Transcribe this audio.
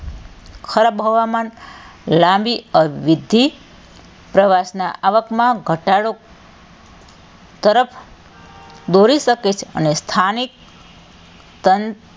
ખરાબ હવામાન લાંબી અવિધિ પ્રવાસનાં આવકમાં ઘટાડો તરફ દોરી શકે છે અને સ્થાનિક તન,